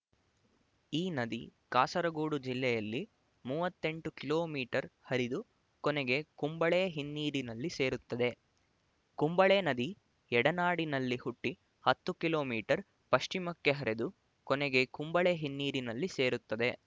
ಈ ನದಿ ಕಾಸರಗೋಡು ಜಿಲ್ಲೆಯಲ್ಲಿ ಮೂವತ್ತ್ ಎಂಟು ಕಿಲೋ ಮೀಟರ್ ಹರಿದು ಕೊನೆಗೆ ಕುಂಬಳೆ ಹಿನ್ನೀರಿನಲ್ಲಿ ಸೇರುತ್ತದೆ ಕುಂಬಳೆ ನದಿ ಎಡನಾಡಿನಲ್ಲಿ ಹುಟ್ಟಿ ಹತ್ತು ಕಿಲೋ ಮೀಟರ್ ಪಶ್ಚಿಮಕ್ಕೆ ಹರಿದು ಕೊನೆಗೆ ಕುಂಬಳೆ ಹಿನ್ನೀರಿನಲ್ಲಿ ಸೇರುತ್ತದೆ